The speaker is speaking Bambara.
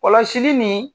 Kɔlɔsili nin